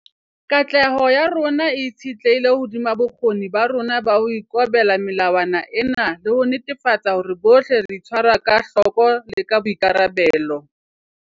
Katleho ya rona e itshetlehile hodima bokgoni ba rona ba ho ikobela melawana ena le ho netefatsa hore bohle re itshwara ka hloko le ka boikarabelo.